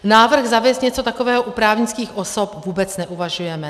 Návrh zavést něco takového u právnických osob vůbec neuvažujeme.